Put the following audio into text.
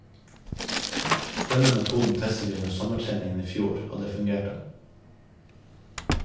Denne metoden testet de under sommertreningen i fjor, og det fungerte.